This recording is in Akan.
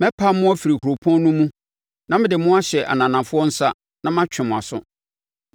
Mɛpam mo afiri kuropɔn no mu na mede mo ahyɛ ananafoɔ nsa, na matwe mo aso.